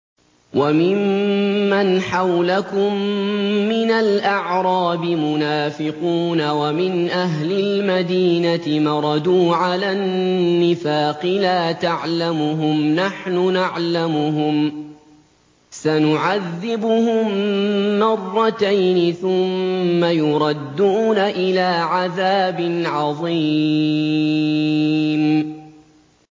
وَمِمَّنْ حَوْلَكُم مِّنَ الْأَعْرَابِ مُنَافِقُونَ ۖ وَمِنْ أَهْلِ الْمَدِينَةِ ۖ مَرَدُوا عَلَى النِّفَاقِ لَا تَعْلَمُهُمْ ۖ نَحْنُ نَعْلَمُهُمْ ۚ سَنُعَذِّبُهُم مَّرَّتَيْنِ ثُمَّ يُرَدُّونَ إِلَىٰ عَذَابٍ عَظِيمٍ